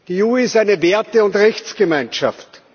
Die EU ist eine Werte und Rechtsgemeinschaft.